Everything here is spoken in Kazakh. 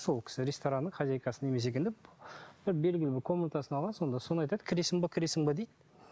сол кісі ресторанның хозяйкасының белгілі бір комнатасын алған сонда соны айтады кіресің бе кіресің бе дейді